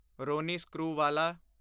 Ronnie Screwvala